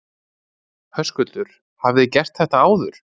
Höskuldur: Hafið þið gert þetta áður?